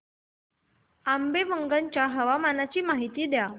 आंबेवंगन च्या हवामानाची माहिती द्या